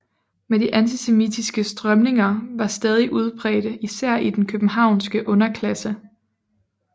Men de antisemitiske strømninger var stadig udbredte især i den københavnske underklasse